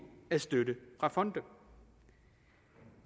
af støtte fra fonde